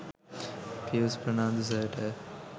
Pius Fernando සර්ට